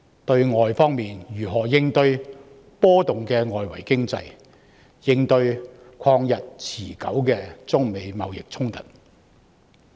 對外，我們如何應對波動的外圍經濟及曠日持久的中美貿易衝突？